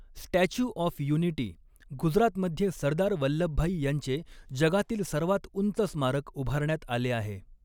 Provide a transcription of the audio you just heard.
Statue of Unity, Gujarat मध्ये सरदार वल्लभभाई यांचे जगातील सर्वात उंच स्मारक उभारण्यात आले आहे.